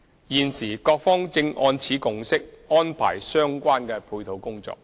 現時各方正按此共識安排相關配套工作。